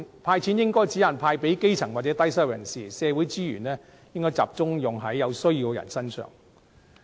"派錢"應該只限派給基層或低收入人士，社會資源應該集中用於有需要人士身上。